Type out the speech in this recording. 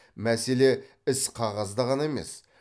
мәселе іс қағазда ғана емес